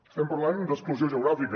estem parlant d’exclusió geogràfica